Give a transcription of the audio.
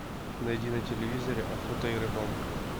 найди на телевизоре охота и рыбалка